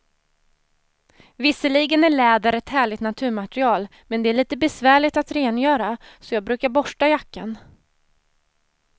Visserligen är läder ett härligt naturmaterial, men det är lite besvärligt att rengöra, så jag brukar borsta jackan.